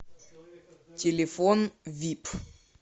телефон вип